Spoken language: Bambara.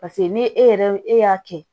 paseke ni e yɛrɛ e y'a kɛ